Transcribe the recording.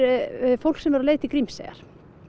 fólk sem er á leið til Grímseyjar